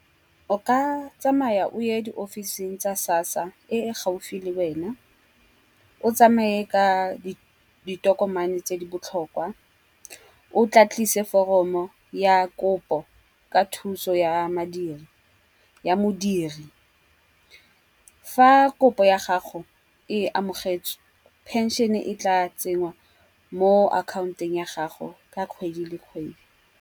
O ka tsamaya o ye di office-ing tsa SASSA e e gaufi le wena. O tsamaye ka ditokomane tse di botlhokwa, o tla tlise foromo ya kopo ka thuso ya madi ya modiri. Fa kopo ya gago e amogetswe pension-e e tla tsenngwa mo account-ong ya gago ka kgwedi le kgwedi.